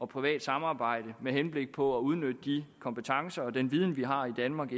privat samarbejde med henblik på at udnytte de kompetencer og den viden vi har i danmark